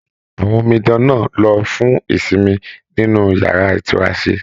Àwọn omidan náà lọ fún ìsinmi nínú yàrá itunrase.